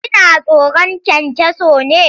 Kina tsoron kyankyaso ne?